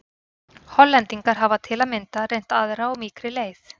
Hollendingar hafa til að mynda reynt aðra og mýkri leið.